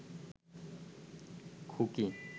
খুকি